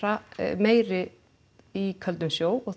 meiri í köldum sjó og